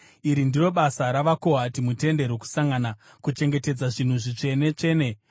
“Iri ndiro basa ravaKohati muTende Rokusangana: kuchengetedza zvinhu zvitsvene-tsvene.